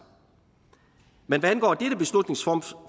men hvad angår dette beslutningsforslag